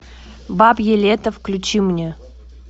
бабье лето включи мне